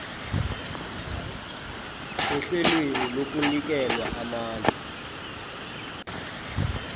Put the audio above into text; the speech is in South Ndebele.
ehlelweni lokunikelwa amandla